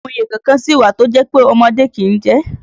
Àwọn òye kọ̀ọ̀kan sì wà tí ó jẹ́ pé ọmọdé kìí jẹ